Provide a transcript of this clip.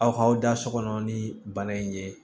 Aw kaw da so kɔnɔ ni bana in ye